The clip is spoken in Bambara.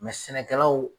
sɛnɛkɛlaw